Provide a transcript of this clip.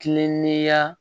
Kilen ne ya